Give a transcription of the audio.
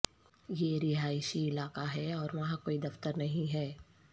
یہ رہائشی علاقہ ہے اور وہاں کوئی دفتر نہیں ہے